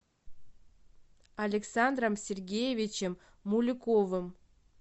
александром сергеевичем мулюковым